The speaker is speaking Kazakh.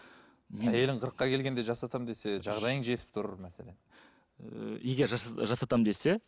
әйелің қырыққа келгенде жасатамын десе жағдайың жетіп тұр мәселен егер жасатамын десе